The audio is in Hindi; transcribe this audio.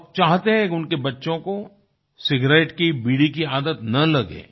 और चाहते हैं उनके बच्चों को सिगारेट की बीड़ी की आदत न लगे